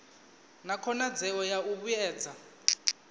na khonadzeo ya u vhuedza